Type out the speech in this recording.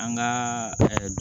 An ka